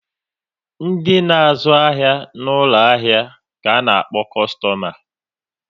Ndi na-azu ahia n'ulo ahia ka a na-akpo kostoma